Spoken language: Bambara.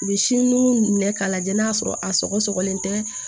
U bɛ si nu minɛ k'a lajɛ n'a sɔrɔ a sɔgɔ sɔgɔlen tɛ